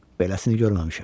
Beləsini görməmişəm.